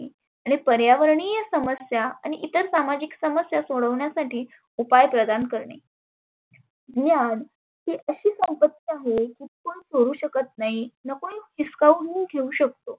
आणि पर्यावरणीय समस्या आणि इतर सामाजिक समस्या सोडवण्यासाठी उपाय प्रदान करणे. ही आड ही अशी संपत्ती आहे कोण करु शकत नाही न कोण हिसकावून घेऊ शकतो.